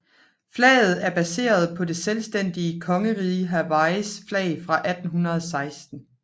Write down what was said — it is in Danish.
Flaget er baseret på det selvstændige Kongeriget Hawaiis flag fra 1816